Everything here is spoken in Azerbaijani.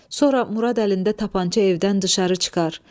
Sonra Murad əlində tapança evdən düşəri çıxar.